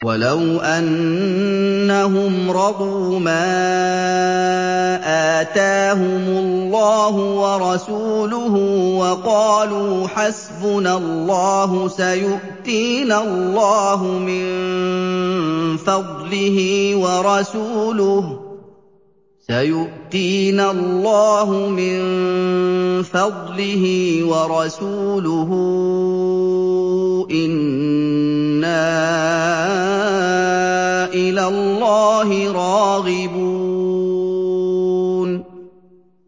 وَلَوْ أَنَّهُمْ رَضُوا مَا آتَاهُمُ اللَّهُ وَرَسُولُهُ وَقَالُوا حَسْبُنَا اللَّهُ سَيُؤْتِينَا اللَّهُ مِن فَضْلِهِ وَرَسُولُهُ إِنَّا إِلَى اللَّهِ رَاغِبُونَ